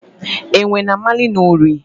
Enwe na-amali n’ụrị.